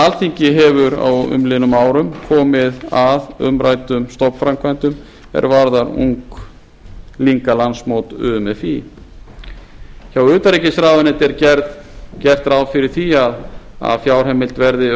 alþingi hefur á umliðnum árum komið að umræddum stofnframkvæmdum er varða unglingalandsmót umfí hjá utanríkisráðuneyti er gert ráð fyrir því að fjárheimild verði